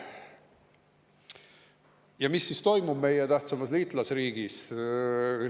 Ja mis siis toimub meie tähtsaimas liitlasriigis?